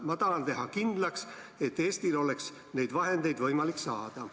"Ma tahan teha kindlaks, et Eestil oleks neid vahendeid võimalik saada.